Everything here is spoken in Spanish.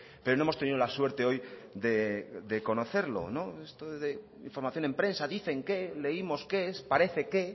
pero no hemos tenido la suerte hoy de conocerlo esto de información en prensa dicen que leímos que parece que